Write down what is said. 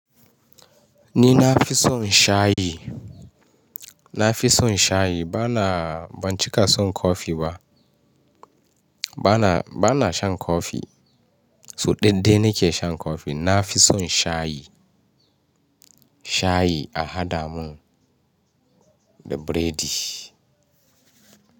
Ni na fi son shayi. Na fi son shayi bana, ban cika son kofi ba. Bana, bana shan kofi. So daya dai nike shan kofi. Na fi son shayi, shayi a haɗa mun biredi.